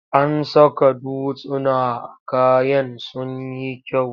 An saka dutsuna a kayan sun yi kyau.